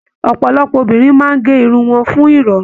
Ọpọlọpọ obìnrin máa ge irun wọn fún irọrun.